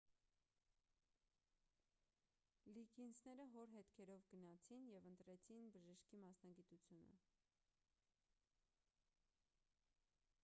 լիգինսները հոր հետքերով գնացին և ընտրեցին բժշկի մասնագիտությունը